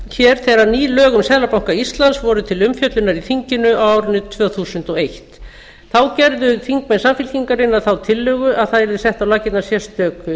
gerðu þegar ný lög um seðlabanka íslands voru til umfjöllunar í þinginu á árinu tvö þúsund og eitt þá gerðu þingmenn samfylkingarinnar þá tillögu að það yrði sett á laggirnar sérstök